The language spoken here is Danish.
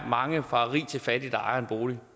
mange fra rig til fattig der ejer en bolig